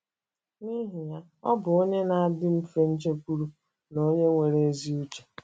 N’ihi ya, ọ bụ onye na - adị mfe njekwuru na onye nwere ezi uche.